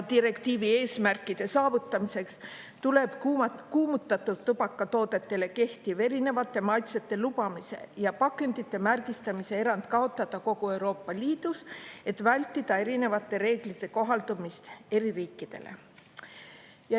Direktiivi eesmärkide saavutamiseks tuleb kuumutatud tubakatoodetele kehtiv erinevate maitsete lubamise ja pakendite märgistamise erand kaotada kogu Euroopa Liidus, et vältida erinevate reeglite kohaldumist eri riikidele.